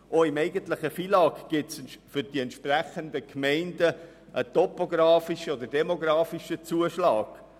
Auch im eigentlichen FILAG gibt es für entsprechende Gemeinden einen topografischen oder demografischen Zuschlag.